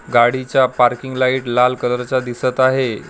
गाडीचा parking light लाल colour चा दिसत आहे.